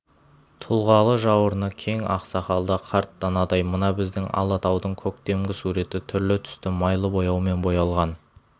тұлғалы жауырыны кең ақсақалды қарт данадай мына біздің алатаудың көктемгі суреті түрлі-түсті майлы бояумен боялған